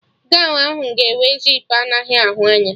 Gọwn ahụ ga enwe zipu anaghị ahụ anya